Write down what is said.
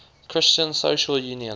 christian social union